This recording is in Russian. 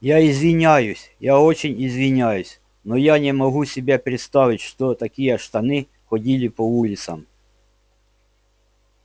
я извиняюсь я очень извиняюсь но я не могу себе представить чтобы такие штаны ходили по улицам